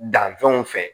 Danfɛnw fɛ